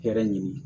Hɛrɛ ɲini